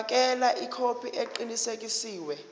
fakela ikhophi eqinisekisiwe